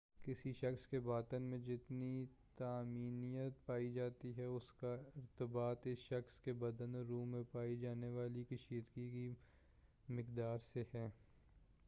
کسی شخص کے باطن میں جتنی طمانینت پائی جاتی ہے اس کا ارتباط اس شخص کے بدن اور روح میں پائی جانے والی کشیدگی کی مقدار سے ہے